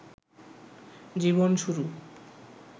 জীবন শুরু